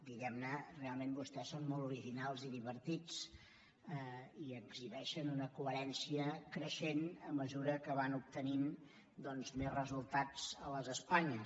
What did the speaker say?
diguem ne realment vostès són molt originals i divertits i exhibeixen una coherència creixent a mesura que van obtenint més resultats a les espanyes